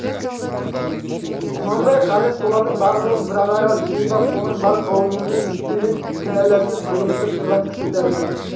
құнанбай қазір солардың бар руын бір араға жиып ап соның бар қауымымен бетпе-бет кінәласып жүгінісіп тұрған кісі тәрізді